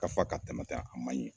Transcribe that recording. Kafa ka tɛmɛ ten a maɲi.